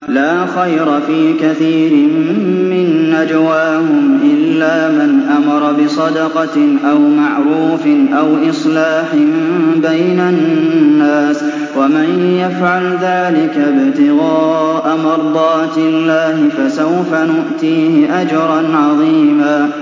۞ لَّا خَيْرَ فِي كَثِيرٍ مِّن نَّجْوَاهُمْ إِلَّا مَنْ أَمَرَ بِصَدَقَةٍ أَوْ مَعْرُوفٍ أَوْ إِصْلَاحٍ بَيْنَ النَّاسِ ۚ وَمَن يَفْعَلْ ذَٰلِكَ ابْتِغَاءَ مَرْضَاتِ اللَّهِ فَسَوْفَ نُؤْتِيهِ أَجْرًا عَظِيمًا